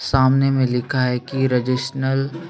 सामने में लिखा है की रजिसनल -